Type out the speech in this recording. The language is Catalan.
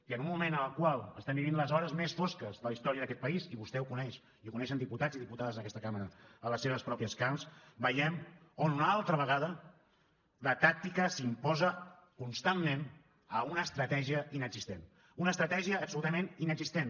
i en un moment en el qual estem vivint les hores més fosques de la història d’aquest país i vostè ho coneix i ho coneixen diputats i diputades en aquesta cambra a les seves pròpies carns veiem on una altra vegada la tàctica s’imposa constantment a una estratègia inexistent una estratègia absolutament inexistent